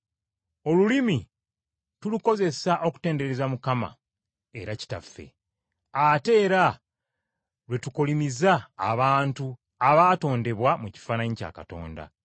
Olulimi tulukozesa okutendereza Mukama era Kitaffe, ate era lwe tukolimiza abantu abaatondebwa mu kifaananyi kya Katonda.